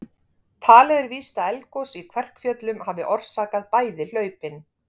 Talið er víst að eldgos í Kverkfjöllum hafi orsakað bæði hlaupin.